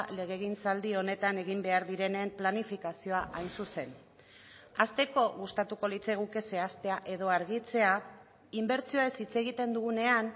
legegintzaldi honetan egin behar direnen planifikazioa hain zuzen hasteko gustatuko litzaiguke zehaztea edo argitzea inbertsioez hitz egiten dugunean